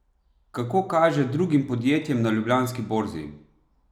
Kako kaže drugim podjetjem na ljubljanski borzi?